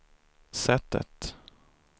sättet